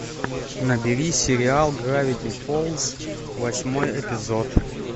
набери сериал гравити фолз восьмой эпизод